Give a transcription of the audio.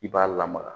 I b'a lamaga